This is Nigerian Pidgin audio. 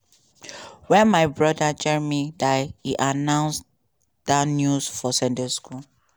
"wen my brother jeremy die e announce dat news for sunday school."